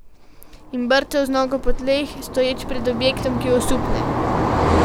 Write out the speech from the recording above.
In brcal z nogo po tleh, stoječ pred objektom, ki osupne.